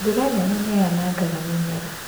Mbura nene nĩ yanangaga mĩmera.